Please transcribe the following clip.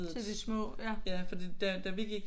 Til de små?